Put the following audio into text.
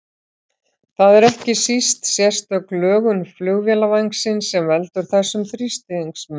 Það er ekki síst sérstök lögun flugvélarvængsins sem veldur þessum þrýstingsmun.